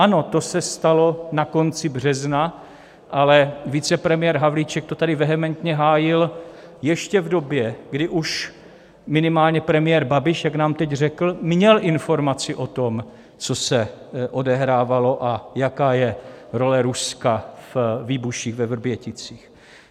Ano, to se stalo na konci března, ale vicepremiér Havlíček to tady vehementně hájil ještě v době, když už minimálně premiér Babiš, jak nám teď řekl, měl informaci o tom, co se odehrávalo a jaká je role Ruska ve výbuších ve Vrběticích.